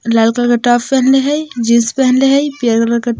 लाल colour का top पेहनले हई जींस पेहनले हई पियर कलर के |--